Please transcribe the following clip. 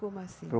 Como assim?